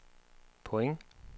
point